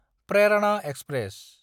Prerana express